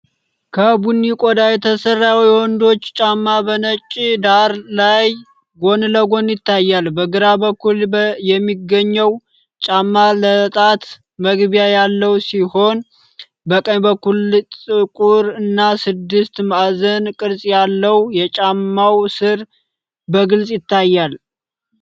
ከቡኒ ቆዳ የተሰራ የወንዶች ጫማ በነጭ ዳራ ላይ ጎን ለጎን ይታያል። በግራ በኩል የሚገኘው ጫማ ለጣት መግቢያ ያለው ሲሆን፣ በቀኝ በኩል ጥቁር እና ስድስት ማዕዘን ቅርጽ ያለው የጫማው ስር በግልጽ ይታያል።